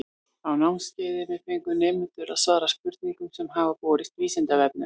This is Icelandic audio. Á námskeiðinu fengu nemendur að svara spurningum sem hafa borist Vísindavefnum.